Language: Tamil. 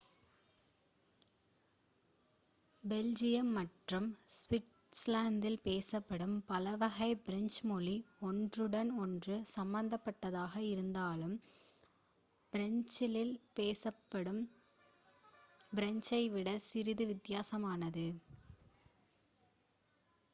பெல்ஜியம் மற்றும் ஸ்விட்ஸர்லாந்தில் பேசப்படும் பலவகை ஃப்ரெஞ்சு மொழி ஒன்றுடன் ஒன்று சம்பந்தப்பட்டதாக இருந்தாலும் ஃப்ரான்ஸில் பேசப்படும் ஃப்ரெஞ்சை விட சிறிது வித்தியாசமானது